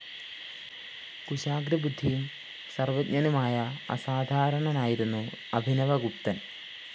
കുശാഗ്രബുദ്ധിയും സര്‍വജ്ഞനുമായ അസാധാരണനായിരുന്നു അഭിനവഗുപ്തന്‍